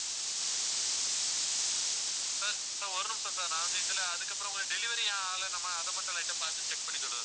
sir sir ஒரு நிமிஷம் sir நான் வந்து இதுல அதுக்கப்புறம் உங்களுக்கு delivery ஏன் ஆகல நம்ம அதை மட்டும் light ஆ பார்த்து சொல்றேன் sir